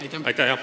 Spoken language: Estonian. Aitäh!